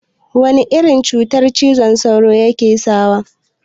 Wana irin cuta cizon sauro yake sawa mutun?